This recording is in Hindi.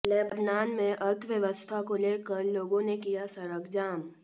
लेबनान में अर्थव्यवस्था को लेकर लोगों ने किया सड़क जाम